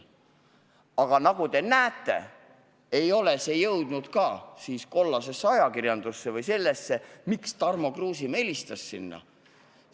Aga nagu te näete, ei ole see jõudnud ka kollasesse ajakirjandusse – see teave, miks Tarmo Kruusimäe sinna helistas.